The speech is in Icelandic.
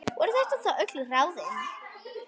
Voru þetta þá öll ráðin?